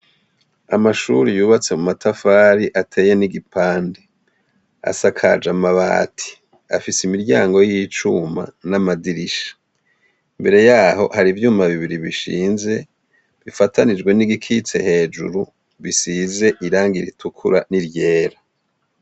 Amashuri yubatse mu matafari ateye n'igipande asakaje amabati afise imiryango y'icuma n'amadirisha imbere yaho hari ivyuma bibiri bishinze bifatanijwe n'igikitse hejuru bisize iranga iritukura n'iryera.